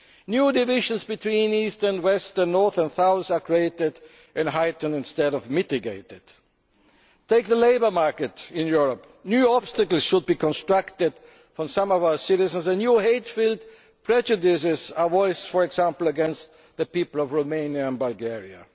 World War. New divisions between east and west, and north and south, are being created and heightened instead of mitigated. Take the labour market in Europe. New obstacles are constructed by some of our citizens and new hate filled prejudices are voiced, for example against the people of Romania